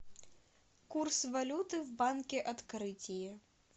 курс валюты в банке открытие